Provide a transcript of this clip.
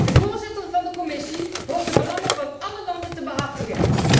De voorzitter van de Commissie hoort de belangen van alle landen te behartigen.